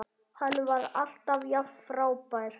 Hann var alltaf jafn frábær.